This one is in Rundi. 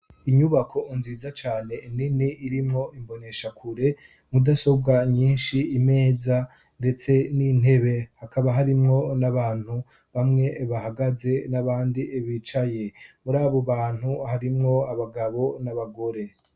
inyubako nziza cane nini irimwo imboneshakure mudasobwa nyinshi imeza ndetse n'intebe hakaba harimwo n'abantu bamwe bahagaze n'abandi bicaye muri abo bantu harimwo abagabo n'abagore